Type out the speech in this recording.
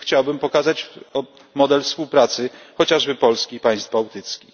Tu chciałbym pokazać model współpracy, chociażby Polski i państw bałtyckich.